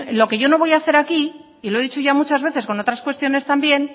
lo que yo no voy a hacer aquí y lo he dicho ya muchas veces con otras cuestiones también